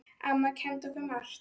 Amma kenndi okkur margt.